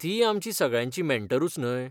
तीय आमची सगळ्यांची मॅन्टरूच न्हय.